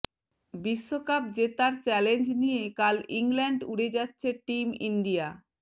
বিশ্বকাপ জেতার চ্যালেঞ্জ নিয়ে কাল ইংল্যান্ড উড়ে যাচ্ছে টিম ইন্ডিয়া